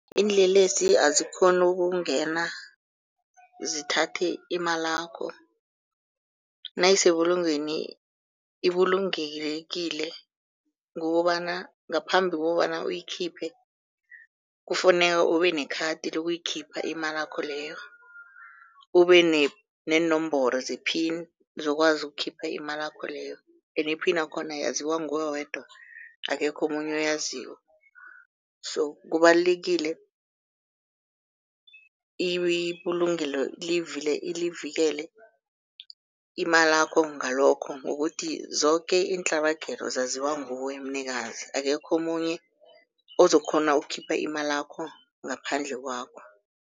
Iinlelesi azikghoni ukungena zithathe imalakho nayisebulungweni ibulungekile, ngokobana ngaphambi kobana uyikhiphe kufuneka ube nekhadi lokuyikhipha imalakho leyo, ube neenomboro ze-pin zokwazi ukukhipha imalakho leyo, ene pin yakhona yaziwa nguwe wedwa akekho omunye oyaziko. So kubalulekile ibulungelo livikele imalakho ngalokho, ngokuthi zoke iintlabagelo zaziwa nguwe mnikazi, akekho omunye ozokukghona ukukhipha imalakho ngaphandle kwakho.